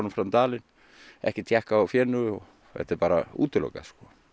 fram dalinn ekki tékkað á fénu þetta er bara útilokað